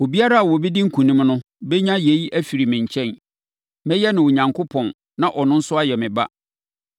Obiara a ɔbɛdi nkonim no bɛnya yei afiri me nkyɛn. Mɛyɛ ne Onyankopɔn na ɔno nso ayɛ me ba.